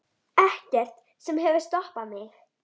Ekkert sem hefur stoppað mig.